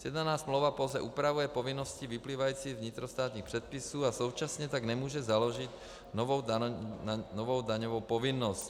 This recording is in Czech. Sjednaná smlouva pouze upravuje povinnosti vyplývající z vnitrostátních předpisů a současně tak nemůže založit novou daňovou povinnost.